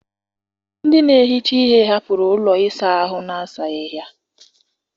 Ndị na-ehicha ihe hapụrụ ụlọ ịsa ahụ na-asaghị ya.